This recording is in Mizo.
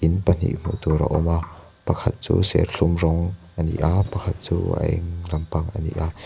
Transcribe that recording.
thing pahnih hmuh tur a awm a pakhat chu serthlum rawng ani a pakhat chu a eng lampang ani a.